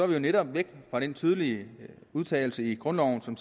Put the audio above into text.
vi jo netop væk fra den tydelige udtalelse i grundloven som